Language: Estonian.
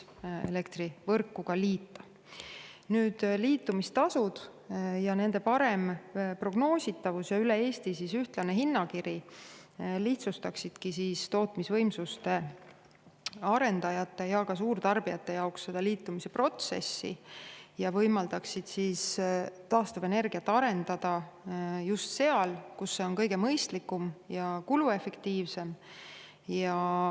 Liitumistasude parem prognoositavus ja üle Eesti ühtlane hinnakiri lihtsustaksid tootmisvõimsuste arendajate ja ka suurtarbijate jaoks liitumise protsessi ning võimaldaksid taastuvenergiat arendada just seal, kus see on kõige mõistlikum ja kuluefektiivsem.